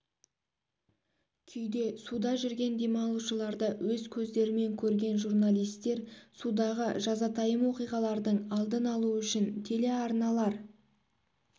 күйде суда жүрген демалушыларды өз көздерімен көрген журналисттер судағы жазатайым оқиғалардың алдын алу үшін телеарналар